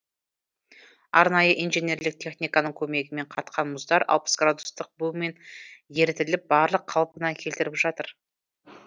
арнайы инженерлік техниканың көмегімен қатқан мұздар алпыс градустық бумен ерітіліп барлық қалпына келтіріліп жатыр